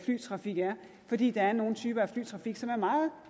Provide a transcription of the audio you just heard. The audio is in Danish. flytrafik er fordi der er nogle typer af flytrafik som er meget